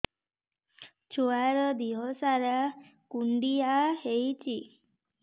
ଛୁଆର୍ ଦିହ ସାରା କୁଣ୍ଡିଆ ହେଇଚି